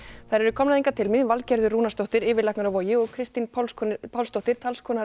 þær eru komnar hingað til mín Valgerður Rúnarsdóttir yfirlæknir á Vogi og Kristín Pálsdóttir Pálsdóttir talskona